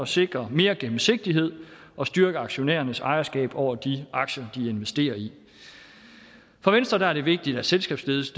sikre mere gennemsigtighed og styrke aktionærernes ejerskab over de aktier de investerer i for venstre er det vigtigt at selskabsledelse